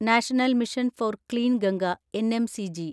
national mission for clean Ganga (NMCG)